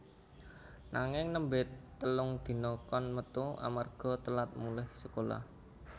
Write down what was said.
Nanging nembe telung dina kon metu amarga telat mulih sekolah